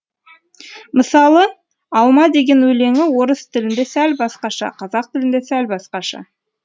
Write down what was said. мысалы алма деген өлеңі орыс тілінде сәл басқаша қазақ тілінде сәл басқаша